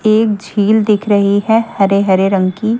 एक झील दिख रही है हरे-हरे रंग की।